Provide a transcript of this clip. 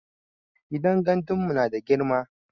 Gidan gandun mu nada girma